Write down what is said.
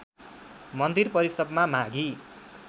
मन्दिर परिसरमा माघी